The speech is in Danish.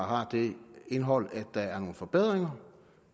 har det indhold at der er nogle forbedringer